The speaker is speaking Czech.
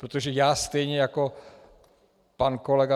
Protože já stejně jako pan kolega